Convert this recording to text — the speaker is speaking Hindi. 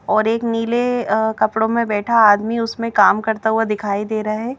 और एक नीले अह कपड़ों में बैठा आदमी उसमें काम करता हुआ दिखाई दे रहा है।